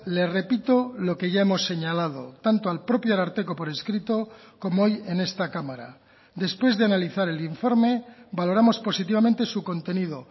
le repito lo que ya hemos señalado tanto al propio ararteko por escrito como hoy en esta cámara después de analizar el informe valoramos positivamente su contenido